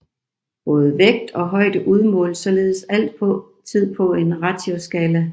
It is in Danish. Både vægt og højde udmåles således altid på en ratioskala